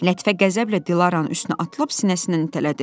Lətifə qəzəblə Dilaranın üstünə atılıb sinəsindən itələdi.